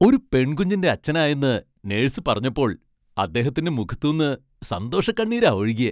ഒരു പെൺകുഞ്ഞിന്റെ അച്ഛനായെന്ന് നെഴ്സ് പറഞ്ഞപ്പോൾ അദ്ദേഹത്തിന്റെ മുഖത്തൂന്ന് സന്തോഷക്കണ്ണീരാ ഒഴുകിയെ.